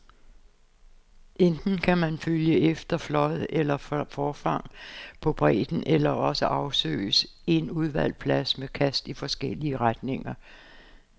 Enten kan man følge efter flåd eller forfang på bredden, eller også afsøges en udvalgt plads med kast i forskellige retninger.